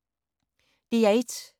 DR1